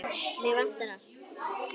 Mig vantar allt.